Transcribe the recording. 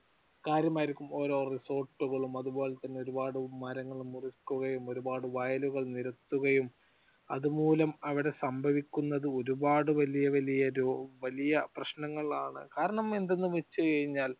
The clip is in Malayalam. ഓരോ റിസോർട്ടുകളും അതുപോലെ തന്നെ ഒരുപാട് മരങ്ങൾ മുറിക്കുകയും ഒരുപാട് വയലുകൾ നിരത്തുകയും അതുമൂലം അവിടെ സംഭവിക്കുന്നത് ഒരുപാട് വലിയ വലിയ വലിയ പ്രശ്നങ്ങളാണ്. കാരണം എന്തെന്ന് വെച്ചുകഴിഞ്ഞാൽ